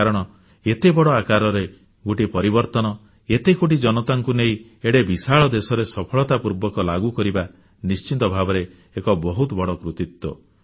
କାରଣ ଏତେ ବଡ଼ ଆକାରରେ ଗୋଟିଏ ପରିବର୍ତ୍ତନ ଏତେ କୋଟି ଜନତାଙ୍କୁ ନେଇ ଏଡ଼େ ବିଶାଳ ଦେଶରେ ସଫଳତା ପୂର୍ବକ ଲାଗୁ କରିବା ନିଶ୍ଚିତ ଭାବରେ ଏକ ବହୁତ ବଡ଼ କୃତିତ୍ୱ